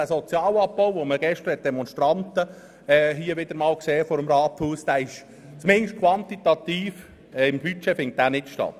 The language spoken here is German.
Der Sozialabbau, gegen den gerade gestern wieder einmal Leute vor dem Rathaus protestiert haben, findet zumindest quantitativ im Budget nicht statt.